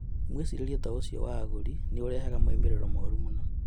Mwĩcirĩrie ta ũcio wa agũri nĩ ũrehaga moimĩrĩro moru mũno.